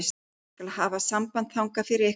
Ég skal hafa samband þangað fyrir ykkur.